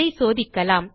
அதை சோதிக்கலாம்